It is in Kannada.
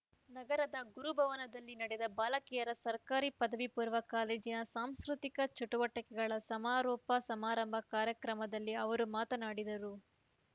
ನಗರದ ಗುರುಭವನದಲ್ಲಿ ನಡೆದ ಬಾಲಕಿಯರ ಸರ್ಕಾರಿ ಪದವಿಪೂರ್ವ ಕಾಲೇಜಿನ ಸಾಂಸ್ಕೃತಿಕ ಚಟುವಟಿಕೆಗಳ ಸಮಾರೋಪ ಸಮಾರಂಭ ಕಾರ್ಯಕ್ರಮದಲ್ಲಿ ಅವರು ಮಾತನಾಡಿದರು